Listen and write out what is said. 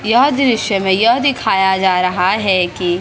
यह दृश्य में यह दिखाया जा रहा है कि--